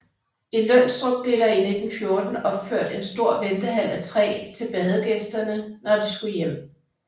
I Lønstrup blev der i 1914 opført en stor ventehal af træ til badegæsterne når de skulle hjem